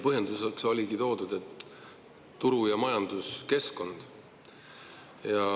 Põhjenduseks oligi toodud turu‑ ja majanduskeskkond.